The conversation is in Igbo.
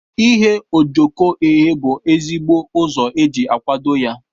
Ighe ojoko eghe bu ezigbo ụzọ eji akwado ya.